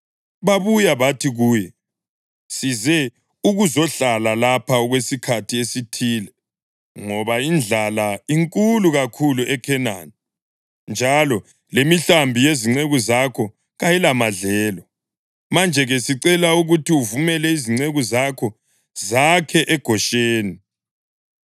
Babuya bathi kuye, “Size ukuzohlala lapha okwesikhathi esithile, ngoba indlala inkulu kakhulu eKhenani, njalo lemihlambi yezinceku zakho kayilamadlelo. Manje-ke sicela ukuthi uvumele izinceku zakho zakhe eGosheni.”